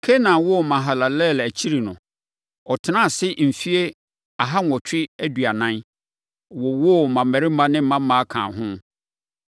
Kenan woo Mahalalel akyiri no, ɔtenaa ase mfeɛ aha nwɔtwe aduanan, wowoo mmammarima ne mmammaa kaa ho.